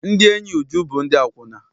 Ndị enyi Uju bụ ndị akwụna.